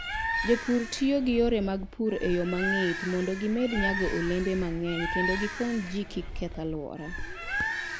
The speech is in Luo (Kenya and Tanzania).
Jopur tiyo gi yore mag pur e yo mong'ith mondo gimed nyago olembe mang'eny kendo gikony ji kik keth alwora.